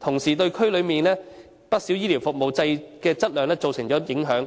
同時對區內不少醫療服務的質量造成影響。